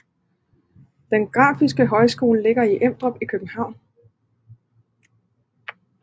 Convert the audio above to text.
Den Grafiske Højskole ligger i Emdrup i København